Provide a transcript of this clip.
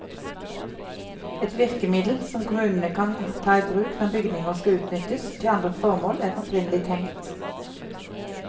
Et virkemiddel som kommunene kan ta i bruk når bygninger skal utnyttes til andre formål enn opprinnelig tenkt.